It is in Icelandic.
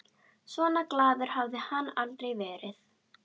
Svona glaður hafði hann aldrei verið.